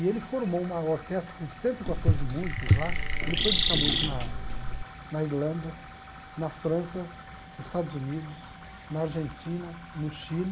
E ele formou uma orquestra com cento e quatorze músicos lá, ele foi buscar músicos na na Irlanda, na França, nos Estados Unidos, na Argentina, no Chile,